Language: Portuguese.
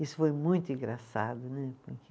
Isso foi muito engraçado, né, porque.